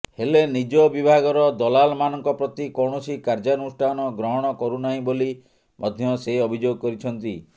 ହେଲେ ନିଜ ବିଭାଗର ଦଲାଲମାନଙ୍କ ପ୍ରତି କୌଣସି କାର୍ଯ୍ୟାନୁଷ୍ଠାନ ଗ୍ରହଣ କରୁନାହିଁ ବୋଲି ମଧ୍ୟ ସେ ଅଭିଯୋଗ କରିଛନ୍ତି